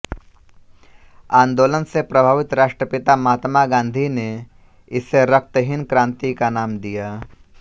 आंदोलन से प्रभावित राष्ट्रपिता महात्मा गांधी ने इसे रक्तहीन क्रांति का नाम दिया